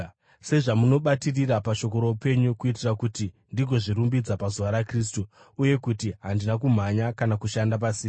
sezvamunobatirira pashoko roupenyu, kuitira kuti ndigozvirumbidza pazuva raKristu uye kuti handina kumhanya kana kushanda pasina.